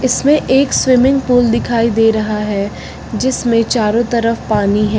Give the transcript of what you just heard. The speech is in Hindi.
इसमें एक स्विमिंग पूल दिखाई दे रहा है जिसमें चारों तरफ पानी है।